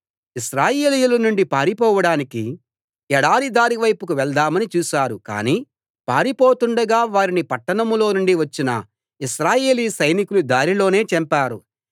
ఇశ్రాయేలీయుల నుండి పారిపోవడానికి ఎడారి దారి వైపుకు వెళ్దామని చూశారు కానీ పారిపోతుండగా వారిని పట్టణంలో నుండి వచ్చిన ఇశ్రాయేలీ సైనికులు దారిలోనే చంపారు